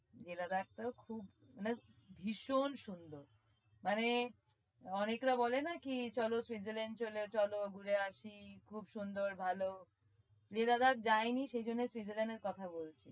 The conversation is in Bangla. leh Ladakh টাও খুব just ভীষণ সুন্দর মানে অনেকরা বলে না কি চলো switzerland চলো ঘুরে আসি খুব সুন্দর ভালো Leh Ladakh যায়নি সেই জন্যই switzerland এর কথা বলে।